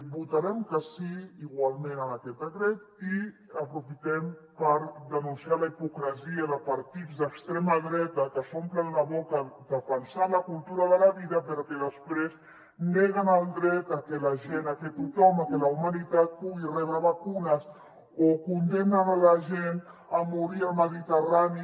votarem que sí igualment a aquest decret i aprofitem per denunciar la hipocresia de partits d’extrema dreta que s’omplen la boca defensant la cultura de la vida però que després neguen el dret a que la gent a que tothom a que la humanitat pugui rebre vacunes o condemnen a la gent a morir al mediterrani